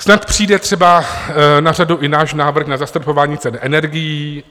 Snad přijde třeba na řadu i náš návrh na zastropování cen energií.